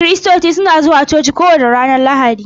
Kiristoci suna zuwa coci kowace ranar Lahadi.